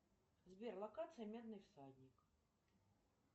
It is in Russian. сбер локация медный всадник